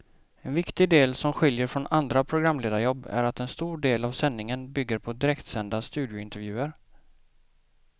En viktig del som skiljer från andra programledarjobb är att en stor del av sändningen bygger på direktsända studiointervjuer.